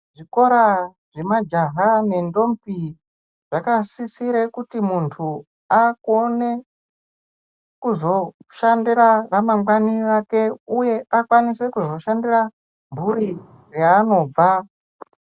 Zvikora zvemajaha nendombi zvakasisire kuti muntu akone kuzoshandira ramangwani rake, uye akwanise kuzoshandira mhuri yaanobva.